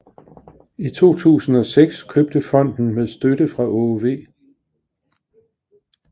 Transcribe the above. I 2006 købte fonden med støtte fra Aage V